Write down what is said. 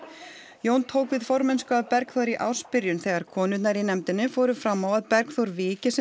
Jón tók við formennsku af Bergþóri í ársbyrjun þegar konurnar í nefndinni fóru fram á að Bergþór viki sem